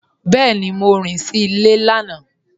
Bẹẹni, Mọ rìn sí ilẹ̀ lànà.